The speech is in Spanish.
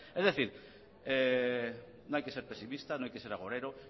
es decir no hay que ser pesimistas no hay que ser agorero